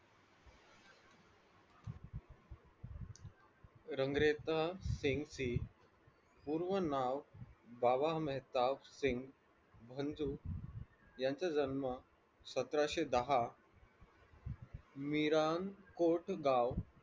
रंगरेसा सिंग चे पूर्ण नाव बाबा मेहताब सिंग यांचा जन्म सतराशे दहा मीरा कोट गाव